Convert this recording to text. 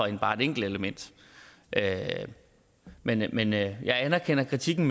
end bare et enkelt element men jeg men jeg anerkender kritikken